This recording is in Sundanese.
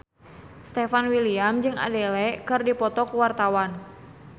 Stefan William jeung Adele keur dipoto ku wartawan